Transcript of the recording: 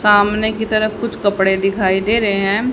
सामने की तरफ कुछ कपड़े दिखाई दे रहे हैं।